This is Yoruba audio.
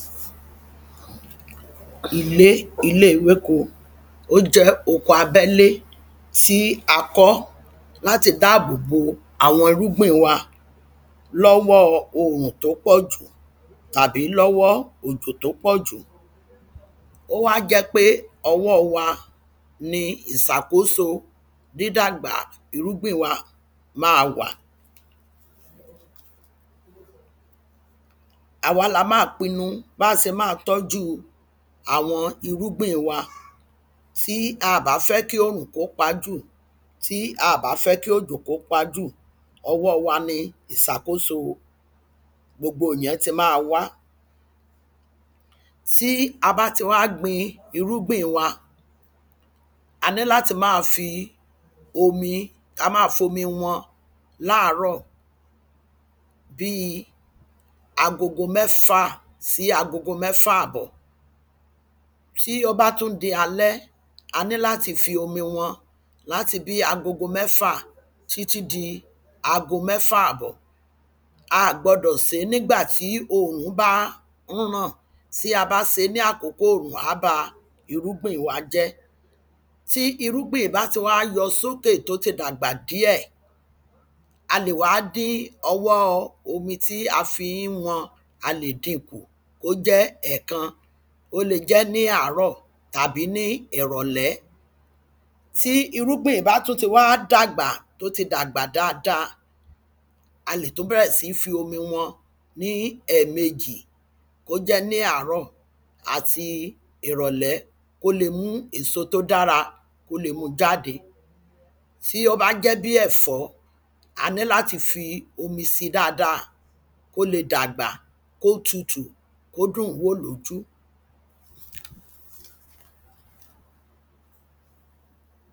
Ilé ilé ewéko ó jẹ́ oko abẹ́lé tí a kọ́ láti dáàbò bo àwọn irúgbìn wa lọ́wọ́ orùn tó pọ̀jù tàbí lọ́wọ́ òjò tó pọ̀jù. Ó wá jẹ́ pé owọ́ wa ni ìsàkóso dìdàgbà irúgbìn wa má wà. Àwa lá má pinu bá se má tọ́jú àwọn irúgbìn wa tí a bá fẹ́ kí òrùn kó pá jù tí a bá fẹ́ kí òjò kó pá jù ọwọ́ wa ni ìsàkóso gbogbo ìyẹn ti má wá. Tí a bá ti wá gbin iɹúgbìn wa a ní láti má fi kámá fomi wọ́n láàrọ̀ bí agogo mẹfà sí agogo mẹ́fà àbọ̀. Tí ó bá tún di alẹ́ a ní láti fi omi wọ́n láti bí agogo mẹfà títí di agogo mẹ́fà àbọ̀. A gbọdọ̀ sín nígbà tí òòrùn bá mú náà tí a bá sé ní àkókò òòrùn á ba irúgbìn wa jẹ́. Tí irúgbìn bá ti wá yọ sókè tó ti dàgbà díẹ̀ a lè wá dín ọwọ́ omi tí a fi ń wọ́n a lè dínkù kó jẹ́ ẹ̀kan ó le jẹ́ ní àárọ̀ tàbí ní ìrọ̀lẹ́. Tí irúgbìn bá tún ti wá dàgbà tó ti dàgbà dáada a lè tún bẹ̀rẹ̀ sí ní fi omi wọ́n ní ẹ̀mẹjì kó jẹ́ ní àárọ̀ àti ìrọ̀lẹ́ kó lé mú èso tó dára kó le mú jʤáde. Tí ó bá jẹ́ bí ẹ̀fọ́ a ní láti fi omi sí dáada kó le dàgbà kó tutù kó dùn wó lójú.